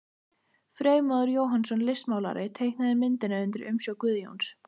Freymóður Jóhannsson, listmálari, teiknaði myndina undir umsjá Guðjóns.